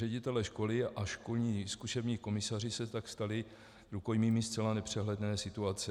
Ředitelé škol a školní zkušební komisaři se tak stali rukojmími zcela nepřehledné situace.